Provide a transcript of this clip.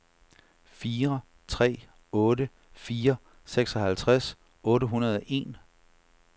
fire tre otte fire seksoghalvtreds otte hundrede og en